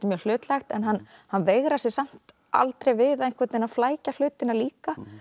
mjög hlutlægt en hann hann veigrar sér samt aldrei við að flækja hlutina líka